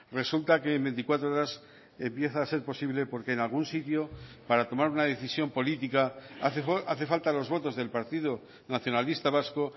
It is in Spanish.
resulta que en veinticuatro horas empieza a ser posible porque en algún sitio para tomar una decisión política hace falta los votos del partido nacionalista vasco